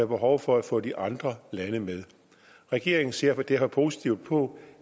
behov for at få de andre lande med regeringen ser derfor positivt på